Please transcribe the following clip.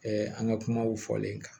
an ka kumaw fɔlen kan